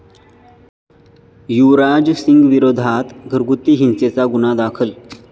युवराज सिंगविरोधात घरगुती हिंसेचा गुन्हा दाखल